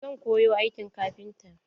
Zan koyi aikin kafinta.